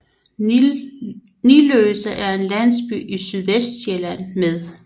Niløse er en landsby i Sydvestsjælland med